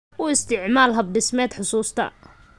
U isticmaal hab dhismeed xusuusta.